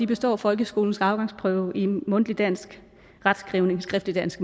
består folkeskolens afgangsprøve i mundtlig dansk retskrivning skriftligt dansk